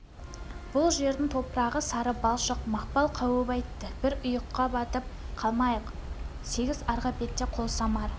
бұл жердің топырағы сары балшық мақпал қауіп айтты бір ұйыққа батып қалмайық сегіз арғы бетте қолсамар